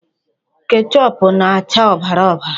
Kechoopụ na-acha ọbara ọbara.